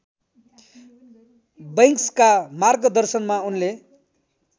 बैंक्सका मार्गदर्शनमा उनले